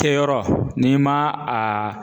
Kɛyɔrɔ n'i ma a